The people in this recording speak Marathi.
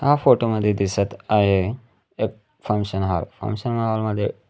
हा फोटो मध्ये दिसत आहे एक फंक्शन हॉल फंक्शन हॉल मध्ये --